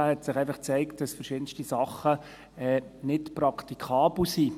Da zeigte sich, dass gewisse Dinge nicht praktikabel sind.